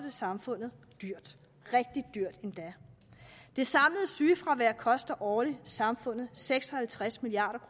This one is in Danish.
samfundet dyrt rigtig dyrt endda det samlede sygefravær koster årligt samfundet seks og halvtreds milliard